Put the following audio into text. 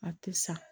A tɛ sa